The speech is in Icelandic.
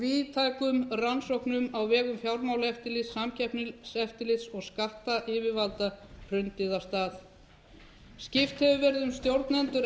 víðtækum rannsóknum á vegum fjármálaeftirlits samkeppniseftirlits og skattyfirvalda hrundið af stað skipt hefur verið um stjórnendur